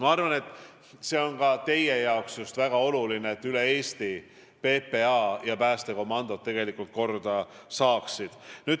Ma arvan, et ka teile on väga oluline, et üle Eesti PPA hooned ja päästekomandod korda saaksid.